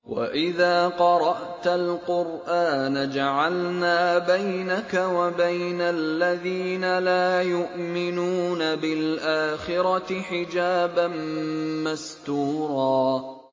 وَإِذَا قَرَأْتَ الْقُرْآنَ جَعَلْنَا بَيْنَكَ وَبَيْنَ الَّذِينَ لَا يُؤْمِنُونَ بِالْآخِرَةِ حِجَابًا مَّسْتُورًا